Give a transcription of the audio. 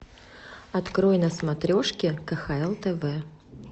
открой на смотрешке кхл тв